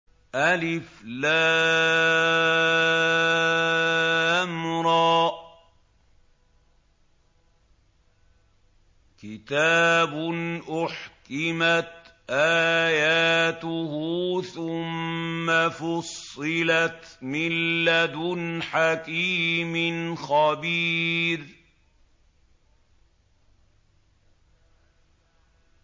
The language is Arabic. الر ۚ كِتَابٌ أُحْكِمَتْ آيَاتُهُ ثُمَّ فُصِّلَتْ مِن لَّدُنْ حَكِيمٍ خَبِيرٍ